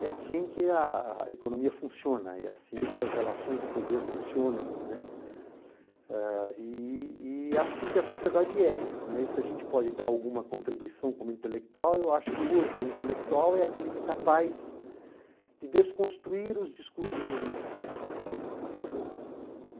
É assim que a a economia funciona, é assim que as relações de poder funcionam, não é, eh e é assim que a sociedade é, né. E se a gente pode dar alguma contribuição como intelectual, eu acho que hoje o intelectual é aquele que é capaz de desconstruir os discursos hegemônicos, não é.